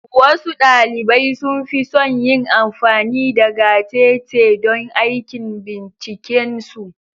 Wasu ɗalibai sun fi son yin amfani da gatetete don aikin binciken su.